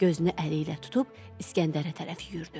Gözünü əliylə tutub İsgəndərə tərəf yüyürdü.